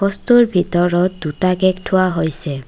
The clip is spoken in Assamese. বস্তুৰ ভিতৰত দুটা কেক থোৱা হৈছে।